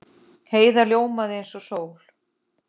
Heiða ljómaði eins og sól.